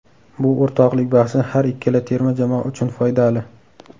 Bu o‘rtoqlik bahsi har ikkala terma jamoa uchun foydali.